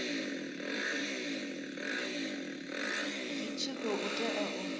zwi tshi khou tea u